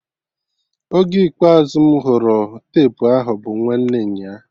Oge ikpeazụ mụ hụrụ tepu ahụ bụ nwanne nyaa